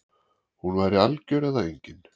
Hún væri algjör eða engin